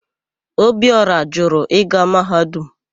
Ọbiora jụrụ ịga Mahadum.